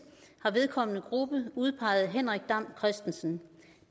har vedkommende gruppe udpeget henrik dam kristensen